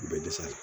U bɛ dɛsɛ